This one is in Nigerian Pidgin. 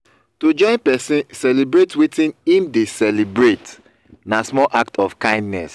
to join persin celebrate wetin im de celebrate na small act of kindness